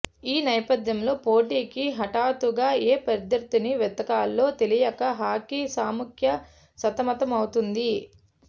ఈ నేపథ్యంలో పోటీకి హఠాత్తుగా ఏ ప్రత్యర్థిని వెతకాలో తెలియక హాకీ సమాఖ్య సతమతం అవుతోంది